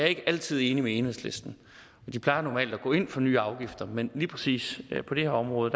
ikke altid enig med enhedslisten de plejer normalt at gå ind for nye afgifter men lige præcis på det her område